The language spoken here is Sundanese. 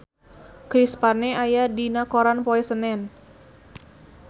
Chris Pane aya dina koran poe Senen